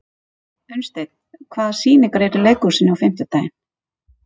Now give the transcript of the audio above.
Unnsteinn, hvaða sýningar eru í leikhúsinu á fimmtudaginn?